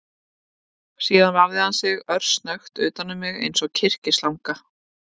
Síðan vafði hann sig örsnöggt utan um mig eins og kyrkislanga